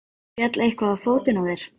Kristján: Féll eitthvað á fótinn á þér?